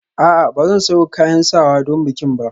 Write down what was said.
A'a ba zan sayo kayan sawa don bikin ba